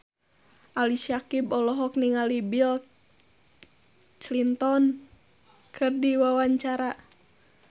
Ali Syakieb olohok ningali Bill Clinton keur diwawancara